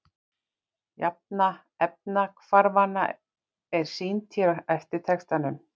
Jafna efnahvarfanna er sýnd hér á eftir textanum.